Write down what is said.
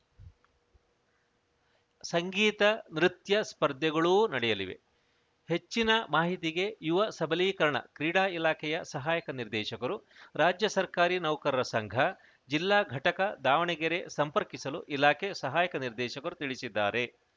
ಸಂಗೀತ ನೃತ್ಯ ಸ್ಪರ್ಧೆಗಳೂ ನಡೆಯಲಿವೆ ಹೆಚ್ಚಿನ ಮಾಹಿತಿಗೆ ಯುವ ಸಬಲೀಕರಣ ಕ್ರೀಡಾ ಇಲಾಖೆಯ ಸಹಾಯಕ ನಿರ್ದೇಶಕರು ರಾಜ್ಯ ಸರ್ಕಾರಿ ನೌಕರರ ಸಂಘ ಜಿಲ್ಲಾ ಘಟಕ ದಾವಣಗೆರೆ ಸಂಪರ್ಕಿಸಲು ಇಲಾಖೆ ಸಹಾಯಕ ನಿರ್ದೇಶಕರು ತಿಳಿಸಿದ್ದಾರೆ